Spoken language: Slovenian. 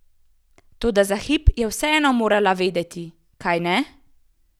Toda za hip je vseeno morala vedeti, kajne?